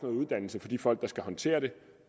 uddannelse for de folk der skal håndtere det